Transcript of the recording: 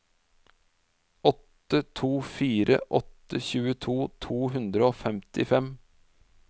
åtte to fire åtte tjueto to hundre og femtifem